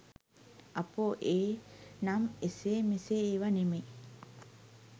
අපෝ ඒ නම් ‍එසේ‍ මෙසේ ඒවා නෙවෙයි